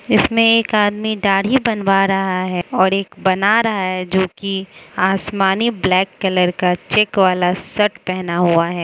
इसमें एक आदमी दाढ़ी बनवा रहा है और एक बना रहा है जो कि आसमानी ब्लैक कलर का चेक वाला शर्ट पहना हुआ है।